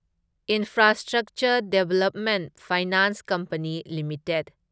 infrastructure development finance company limited